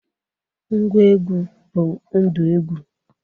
Ngwa egwu bụ ndụ egwu.